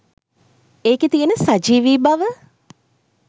ඒකෙ තියෙන සජීවි බව